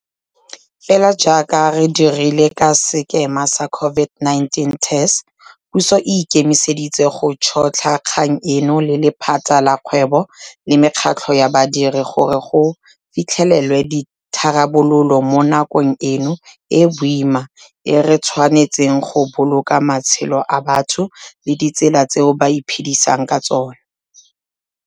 Fela jaaka re dirile ka sekema sa COVID-19 TERS, puso e ikemiseditse go tšhotlha kgang eno le lephata la kgwebo le mekgatlho ya badiri gore go fitlhelelwe ditharabololo mo nakong eno e e boima e re tshwanetseng go boloka matshelo a batho le ditsela tseo ba iphedisang ka tsona.